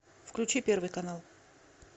включи первый канал